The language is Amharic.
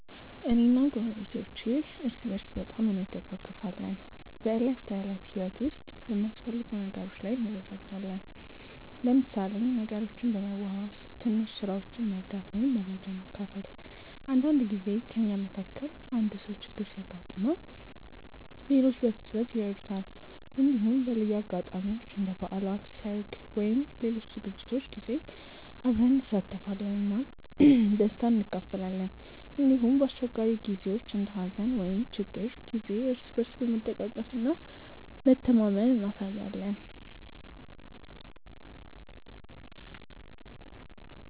እኔ እና ጎረቤቶቼ እርስ በርስ በጣም እንደጋገፋለን። በዕለት ተዕለት ህይወት ውስጥ በሚያስፈልጉ ነገሮች ላይ እንረዳዳለን፣ ለምሳሌ ነገሮችን በመዋዋስ፣ ትንሽ ስራዎችን መርዳት ወይም መረጃ መካፈል። አንዳንድ ጊዜ ከእኛ መካከል አንዱ ሰው ችግር ሲያጋጥመው ሌሎች በፍጥነት ይረዱታል። እንዲሁም በልዩ አጋጣሚዎች እንደ በዓላት፣ ሰርግ ወይም ሌሎች ዝግጅቶች ጊዜ አብረን እንሳተፋለን እና ደስታን እንካፈላለን። እንዲሁም በአስቸጋሪ ጊዜዎች እንደ ሀዘን ወይም ችግር ጊዜ እርስ በርስ መደጋገፍ እና መተማመን እናሳያለን።